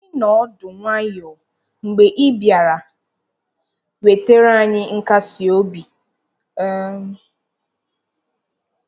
Anyị noọ ọdụ nwayọ mgbe ị bịara, wetara anyị nkasiobi. um